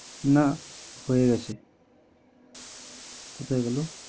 না হয়ে গেছে কোথায় গেলো